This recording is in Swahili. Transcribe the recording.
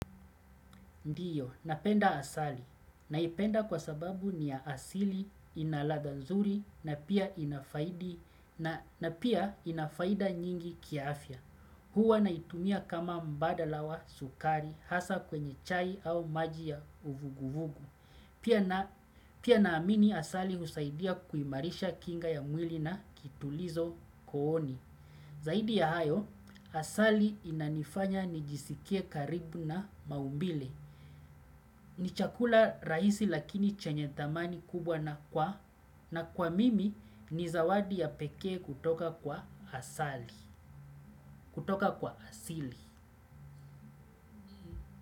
Ndiyo, napenda asali. Naipenda kwa sababu ni ya asili, inaladha nzuri, na pia inafaida nyingi kiafya. Huwa naitumia kama mbadala wa sukari, hasa kwenye chai au maji ya uvuguvugu. Pia naamini asali husaidia kuimarisha kinga ya mwili na kitulizo kooni. Zaidi ya hayo, asali inanifanya nijisikie karibu na maumbile. Ni chakula rahisi lakini chenyethamani kubwa na kwa na kwa mimi ni zawadi ya pekee kutoka kwa asali, kutoka kwa asili.